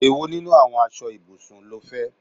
Èwo nínú àwọn aṣọ ibùsùn ló fẹ?